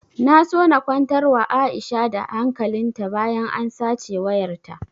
Na so na kwantar wa aisha da hankalin ta bayan an sace wayar ta